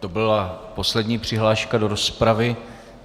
To byla poslední přihláška do rozpravy.